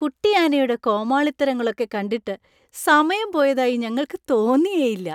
കുട്ടിയാനയുടെ കോമാളിത്തരങ്ങളൊക്കെ കണ്ടിട്ട് സമയം പോയതായി ഞങ്ങൾക്ക് തോന്നിയേയില്ല.